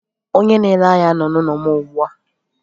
Onye na-ere ahia nọ n'ụlọ m ugbu a.